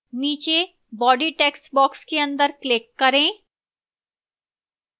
नीचे body textbox के अंदर click करें